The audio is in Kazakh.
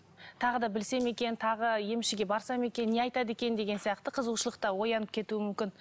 тағы да білсем екен тағы емшіге барсам екен не айтады екен деген сияқты қызығушылық та оянып кетуі мүмкін